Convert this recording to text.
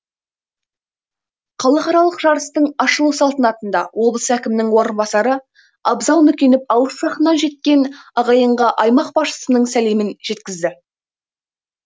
халықаралық жарыстың ашылу салтанатында облыс әкімінің орынбасары абзал нүкенов алыс жақыннан жеткен ағайынға аймақ басшысының сәлемін жеткізді